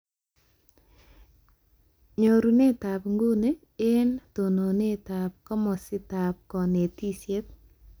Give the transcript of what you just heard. Nyorunetab nguni eng tononetab komositaab konetishet